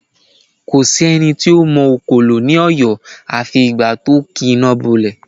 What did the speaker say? Kò sí ẹni tó mọ òkòlò ní Ọ̀yọ́ afi ìgbà tí ó ki iná bọ ilé